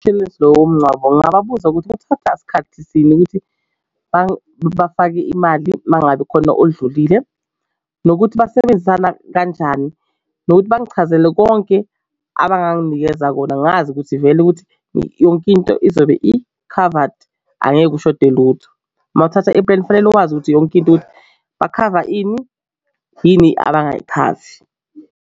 Lowo ngingababuza ukuthi kuthatha isikhathisini ukuthi bafake imali uma ngabe khona odlulile nokuthi basebenzisana kanjani nokuthi bangichazele konke abanganginikeza yona ngazi ukuthi vele ukuthi yonke into izobe ikhavadi angeke ushode lutho. Mawuthatha ipleni kufanele wazi ukuthi yonke into ukuthi bakhava ini yini abasayikhavi.